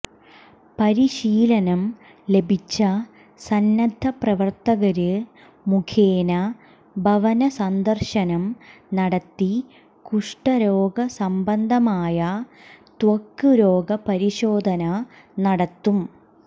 പരിശീലനം ലഭിച്ച സന്നദ്ധ പ്രവര്ത്തകര് മുഖേന ഭവന സന്ദര്ശനം നടത്തി കുഷ്ഠരോഗ സംബന്ധമായ ത്വക് രോഗ പരിശോധന നടത്തും